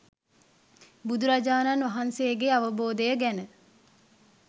බුදුරජාණන් වහන්සේගේ අවබෝධය ගැන